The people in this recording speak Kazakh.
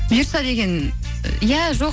бұйырса деген иә жоқ